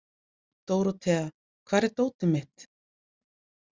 Dórothea, hvar er dótið mitt?